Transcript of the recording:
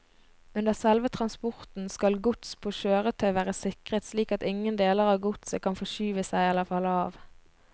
Under selve transporten skal gods på kjøretøy være sikret slik at ingen deler av godset kan forskyve seg eller falle av.